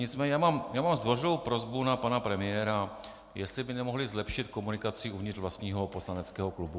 Nicméně já mám zdvořilou prosbu na pana premiéra, jestli by nemohli zlepšit komunikaci uvnitř vlastního poslaneckého klubu.